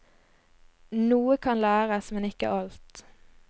Noe kan læres, men ikke alt.